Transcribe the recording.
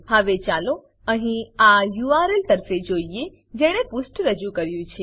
હવે ચાલો અહીં આ યુઆરએલ યુઆરએલ તરફે જોઈએ જેણે પુષ્ઠ રજૂ કર્યું છે